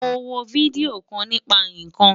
Mo wo fídíò kan nípa ikán.